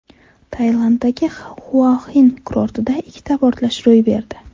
Tailanddagi Xuaxin kurortida ikkita portlash ro‘y berdi.